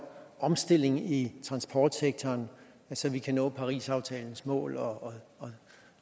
omstilling i transportsektoren så vi kan nå parisaftalens mål og